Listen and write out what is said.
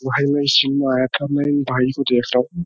भाई मैं जिम आया था। मैं इन भाई को देख रहा हूँ।